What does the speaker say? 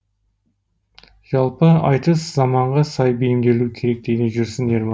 жалпы айтыс заманға сай бейімделуі керек дейді жүрсін ерман